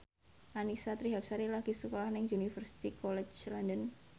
Annisa Trihapsari lagi sekolah nang Universitas College London